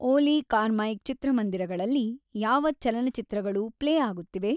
ಓಲಿ Carmike ಚಿತ್ರಮಂದಿರಗಳಲ್ಲಿ ಯಾವ ಚಲನಚಿತ್ರಗಳು ಪ್ಲೇ ಆಗುತ್ತಿವೆ